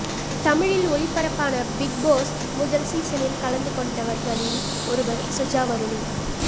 தமிழில் ஒளிபரப்பான பிக்போஸ் முதல் சீசனில் கலந்து கொண்டவர்களில் ஒருவர் சுஜா வருணி